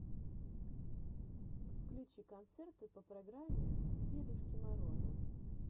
включи концерты по программе дедушки мороза